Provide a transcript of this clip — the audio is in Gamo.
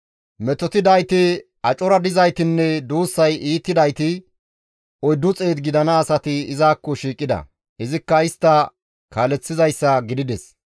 Metotidayti, acora dizaytinne duussay iitidayti 400 gidana asati izakko shiiqida; izikka istta kaaleththizayssa gidides.